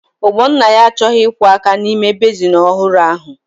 Ogbonnaya achọghị ịkwọ áká n'ime bezin ọhụrụ ahụ.